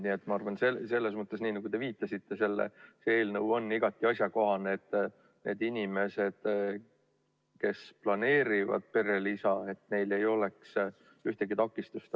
Nii et ma arvan, et nagu te viitasite, selles mõttes see eelnõu on igati asjakohane, et inimestel, kes planeerivad perelisa, ei oleks ühtegi takistust.